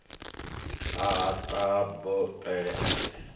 ha batho pele a si